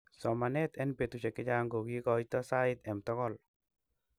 somanet en betusiek chechang kokikoito sait em tokol